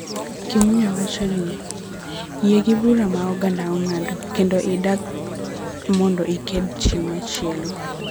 Kimunya wacho ni, yie gi bura ma oganda ng�ado kendo idag mondo iked chieng� machielo.